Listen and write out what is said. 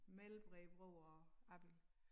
Mellem Bredebro og Abild